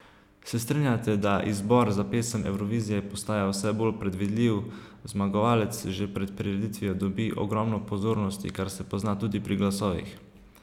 Se strinjate, da izbor za Pesem Evrovizije postaja vse bolj predvidljiv, zmagovalec že pred prireditvijo dobi ogromno pozornosti, kar se pozna tudi pri glasovih?